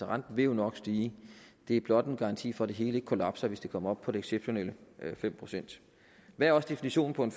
renten vil jo nok stige det er blot en garanti for at det hele ikke kollapser hvis det kommer op på de exceptionelle fem procent hvad er også definitionen på en